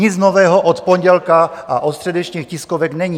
Nic nového od pondělka a od středečních tiskovek není.